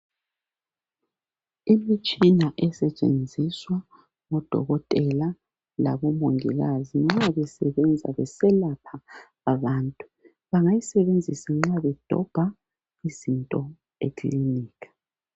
Imitshina esetshenziswa ngudokotela labomongikazi nxa besebenza beselapha abantu. Bangayisebenzisa nxa bedobha izinto ekilinika.